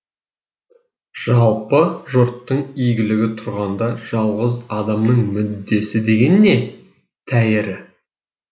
жалпы жұрттың игілігі тұрғанда жалғыз адамның мүддесі деген не тәйірі